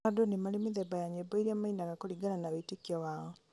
o andũ nĩmarĩ mĩthemba ya nyĩmbo iria mainaga kũringana na wĩtĩkio wao